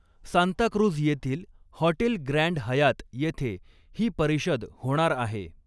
सांताक्रुझ येथील hotel Grand Hyatt येथे ही परिषद होणार आहे.